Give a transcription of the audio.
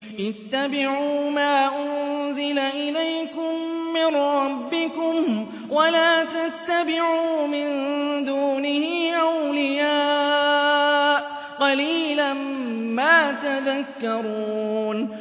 اتَّبِعُوا مَا أُنزِلَ إِلَيْكُم مِّن رَّبِّكُمْ وَلَا تَتَّبِعُوا مِن دُونِهِ أَوْلِيَاءَ ۗ قَلِيلًا مَّا تَذَكَّرُونَ